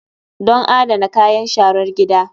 Don adana kayan sharar gida.